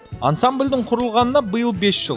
ансамблдің құрылғанына биыл бес жыл